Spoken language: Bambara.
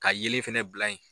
Ka yelen fana bila yen .